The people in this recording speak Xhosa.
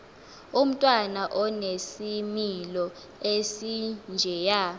umntwana onesimilo esinjeya